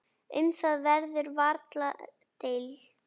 Um það verður varla deilt.